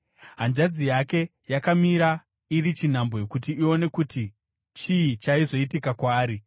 Hanzvadzi yake yakamira iri chinhambwe kuti ione kuti chii chaizoitika kwaari.